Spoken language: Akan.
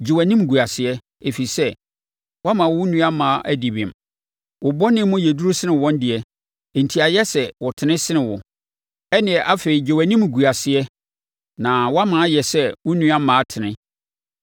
Gye wʼanimguaseɛ, ɛfiri sɛ woama wo nnuammaa adi bem. Wo bɔne mu yɛ duru sene wɔn deɛ, enti ayɛ sɛ wɔtene sene wo. Ɛnneɛ afei gye wʼanimguaseɛ na wama ayɛ sɛ wo nnuammaa tene.